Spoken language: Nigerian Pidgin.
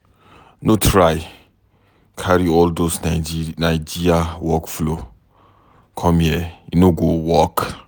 No try carry all those Naija work-flow com here, e no go work.